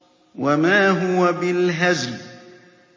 وَمَا هُوَ بِالْهَزْلِ